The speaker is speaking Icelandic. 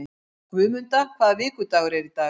Guðmunda, hvaða vikudagur er í dag?